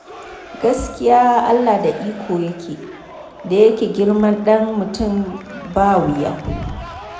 Gaskiya Allah da iko yake, da yake girman ɗan mutum ba wuya.